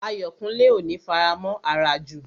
Ayọ̀kúnlé ò ní faramọ̀ àràjù